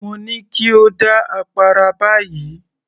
Mo ní kí o dá àpárá báyìí